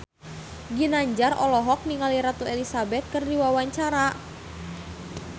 Ginanjar olohok ningali Ratu Elizabeth keur diwawancara